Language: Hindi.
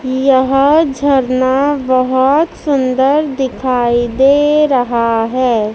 यह झरना बहोत सुंदर दिखाई दे रहा है।